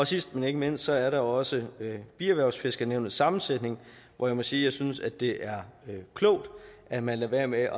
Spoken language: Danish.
sidst men ikke mindst er der jo også bierhvervsfiskernævnets sammensætning hvor jeg må sige at jeg synes det er klogt at man lader være med